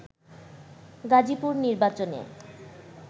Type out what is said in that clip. গাজীপুর নির্বাচনে